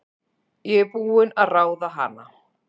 Ég er búin að ráða hana!